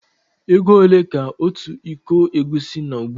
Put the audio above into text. Égo ole ka ọtu ịkọ egwusi nó ugbua?